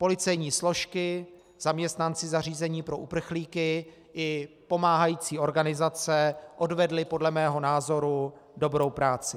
Policejní složky, zaměstnanci zařízení pro uprchlíky i pomáhající organizace odvedli podle mého názoru dobrou práci.